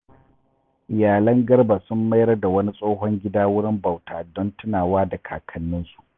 Iyalan Garba sun mayar da wani tsohon gida wurin bauta don tunawa da kakanninsu.